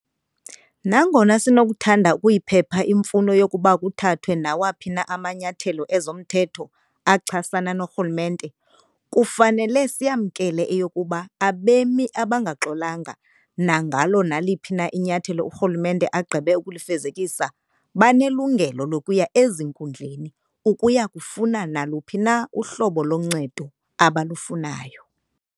Nangona sinokuthanda ukuyiphepha imfuno yokuba kuthathwe nawaphi na amanyathelo ezomthetho achasana norhulumente, kufanele siyamkele eyokuba abemi abangaxolanga nangalo naliphi na inyathelo urhulumente agqibe ukulifezekisa banelungelo lokuya ezinkundleni ukuya kufuna naluphi na uhlobo loncedo abalufunayo.